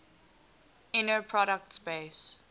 inner product space